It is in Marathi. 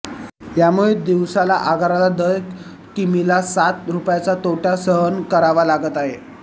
यामुळे दिवसाला आगाराला दर किमीला सात रुपयांचा तोटा सहन करावा लागत आहे